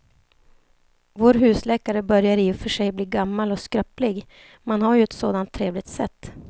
Vår husläkare börjar i och för sig bli gammal och skröplig, men han har ju ett sådant trevligt sätt!